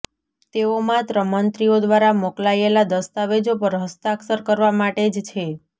તેઓ માત્ર મંત્રીઓ દ્વારા મોકલાયેલા દસ્તાવેજો પર હસ્તાક્ષર કરવા માટે જ છે